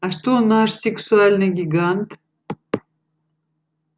а что наш сексуальный гигант